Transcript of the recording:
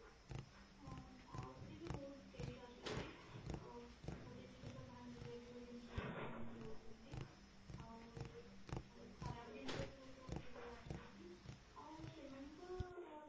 ହଁ ଆହୁରି ବି ବହୁତ case ଆସୁଛି ଗୋଟେ ଜିନିଷ ଭାଙ୍ଗିଯାଇଥିବା ଜିନିଷ ସେମାନେ ଦଉଛନ୍ତି ଆଉ ଖରାପ ଜିନିଷ ବି ଗୋଟେ ଗୋଟେ ଥର ଆସୁଛି ଆଉ ସେମାନଙ୍କ